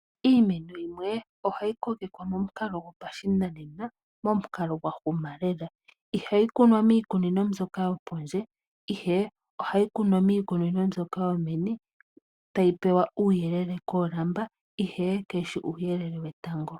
Iimeno yimwe ohayi kokekwa momukalo gopashinanena , momukalo gwahuma lela. Ihayi kunwa miikununo mbyoka yopondje, ihe ohayi kunwa miikununo mbyoka yomeni , tayi pewa uuyelele koolamba ihe kayi shi uuyelele wetango.